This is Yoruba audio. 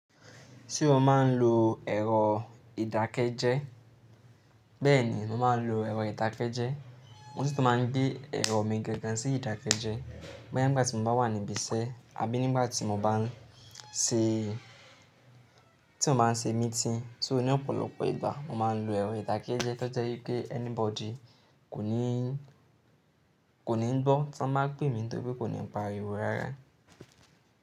Ṣé o máa ń lo ẹ̀rọ ìdákẹ́jẹ́? Bẹ́ẹ̀ni, mo máa ń lo ẹ̀rọ ìdákẹ́jẹ́. Mo si tun máa ń gbé ẹ̀rọ mi gangan sí ìdákẹ́jẹ́, boya nígbà tí mo bá wà níbi iṣẹ́ àbí nígbà tí mo bá ń ṣe, tí mo bá ń ṣe meeting. So ní ọ̀pọ̀lọpọ̀ ìgbà mo máa ń lo ẹ̀rọ ìdákẹ́jẹ́ tó jẹ́ pé anybody kò ní, kò ní gbọ́ tí wọ́n bá pè mí nítorí kò ní pariwo rárá.